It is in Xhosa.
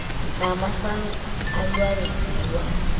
nama san alwaziwa